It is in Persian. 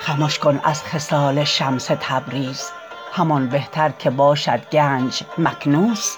خمش کن از خصال شمس تبریز همان بهتر که باشد گنج مکنوز